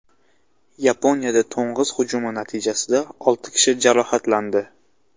Yaponiyada to‘ng‘iz hujumi natijasida olti kishi jarohatlandi.